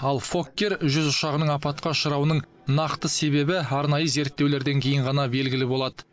ал фоккер жүз ұшағының апатқа ұшырауының нақты себебі арнайы зерттеулерден кейін ғана белгілі болады